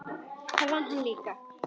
Það vann hann líka.